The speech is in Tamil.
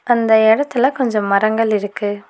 அந்த எடத்துல கொஞ்சொ மரங்கள் இருக்கு.